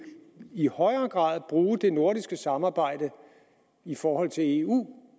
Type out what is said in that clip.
i højere grad bruge det nordiske samarbejde i forhold til eu